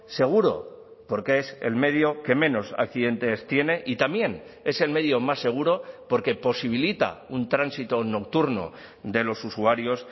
seguro porque es el medio que menos accidentes tiene y también es el medio más seguro porque posibilita un tránsito nocturno de los usuarios